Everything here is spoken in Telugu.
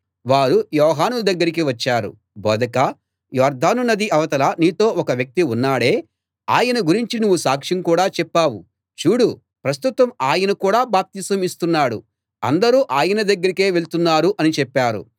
వారు యోహాను దగ్గరికి వచ్చారు బోధకా యొర్దాను నది అవతల నీతో ఒక వ్యక్తి ఉన్నాడే ఆయన గురించి నువ్వు సాక్ష్యం కూడా చెప్పావు చూడు ప్రస్తుతం ఆయన కూడా బాప్తిసం ఇస్తున్నాడు అందరూ ఆయన దగ్గరకే వెళ్తున్నారు అని చెప్పారు